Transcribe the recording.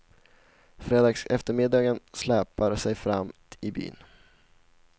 Fredagseftermiddagen släpar sig fram i byn.